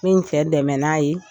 N bi n cɛ dɛmɛ n'a ye